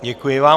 Děkuji vám.